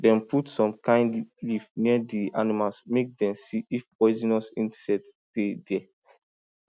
dem put some kind leaf near di animals make dem see if poisonous insects dey there